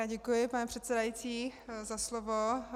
Já děkuji, pane předsedající za slovo.